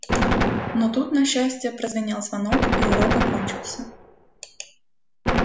но тут на счастье прозвенел звонок и урок окончился